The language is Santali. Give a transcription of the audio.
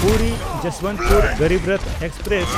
ᱯᱩᱨᱤ–ᱡᱚᱥᱵᱚᱱᱛᱯᱩᱨ ᱜᱚᱨᱤᱵ ᱨᱚᱛᱷ ᱮᱠᱥᱯᱨᱮᱥ